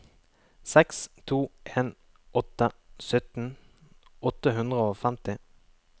seks to en åtte sytten åtte hundre og femti